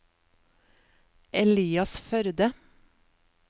Elias Førde